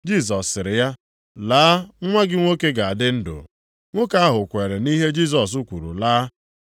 Jisọs sịrị ya, “Laa, nwa gị nwoke ga-adị ndụ.” Nwoke ahụ kweere nʼihe Jisọs kwuru laa.